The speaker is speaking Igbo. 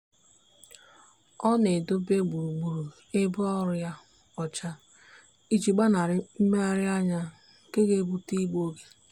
ọ na-edobe gburugburu ebe ọrụ ya ọcha iji gbanarị mmegharianya nke ga-ebute igbu oge.